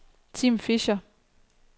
Tim Fischer